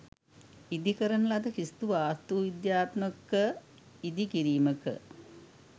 ඉදි කරන ලද කිසිදු වාස්තු විද්‍යාත්මක ඉදි කිරීමක